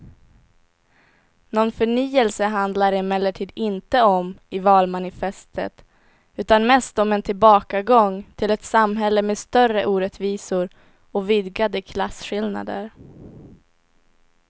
Någon förnyelse handlar det emellertid inte om i valmanifestet utan mest om en tillbakagång till ett samhälle med större orättvisor och vidgade klasskillnader.